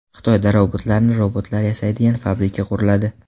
Xitoyda robotlarni robotlar yasaydigan fabrika quriladi.